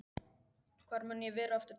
Hvar mun ég vera eftir tvö ár?